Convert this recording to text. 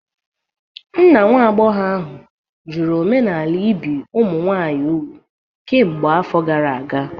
Nna nwa agbọghọ ahụ jụrụ omenala ibi ụmụ nwanyị úgwù kemgbe afọ gara aga